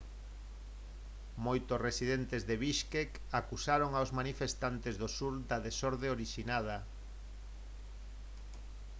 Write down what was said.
moitos residentes de bishkek acusaron aos manifestantes do sur da desorde orixinada